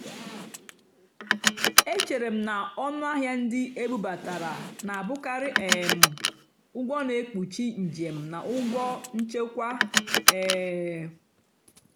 échéré m ná ónú àhịá nrì ndì ébúbátàrá nà-àbụ́karị́ um ụ́gwọ́ nà-ékpúchì njèm nà ụ́gwọ́ nchèkwá. um